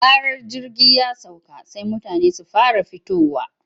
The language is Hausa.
Da zarar jirgi ya sauka sai mutane su fara fitowa.